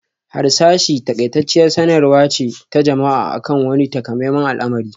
Harsashi n taƙaitacciyar sanarwa ce ta jama'a akan wani takamaiman al'amari